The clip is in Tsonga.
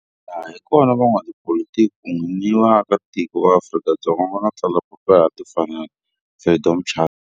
Laha hi kona la van'watipolitiki kun'we ni vaaka tiko va Afrika-Dzonga va nga tsala papila ra timfanelo, Freedom Charter.